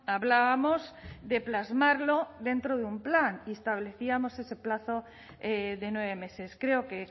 hablábamos de plasmarlo dentro de un plan y establecíamos ese plazo de nueve meses creo que